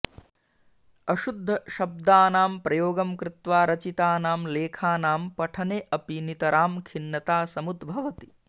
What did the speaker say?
अशुद्धशब्दानां प्रयोगं कृत्वा रचितानां लेखानां पठने अपि नितरां खिन्नता समुद्भवति